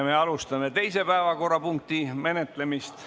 Me alustame teise päevakorrapunkti menetlemist.